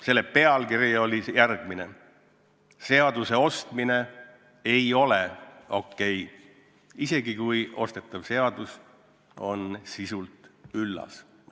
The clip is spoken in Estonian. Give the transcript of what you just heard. Selle pealkiri oli järgmine: "Seaduste ostmine ei ole okei, isegi kui ostetav seadus on sisult üllas".